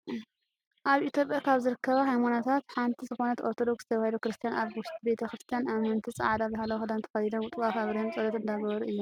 ኣብ ኢትዮጵያ ካብ ዝርከባ ሃይማኖታት ሓንቲ ዝኮነ ኦርቶዶክስ ተዋህዶ ክርስትያን ኣብ ውሽጢ ቤተ-ክርስትያን ኣመንቲ ፃዕዳ ባህላዊ ክዳን ተከዲኖም ጡዋፍ ኣብርሆም ፆሎት እንዳገበሩ እዮም።